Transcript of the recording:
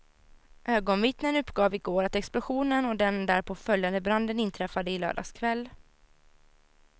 Ögonvittnen uppgav i går att explosionen och den därpå följande branden inträffade i lördags kväll.